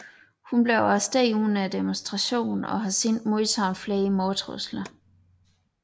Hun blev arresteret under demonstrationerne og har siden modtaget flere mordtrusler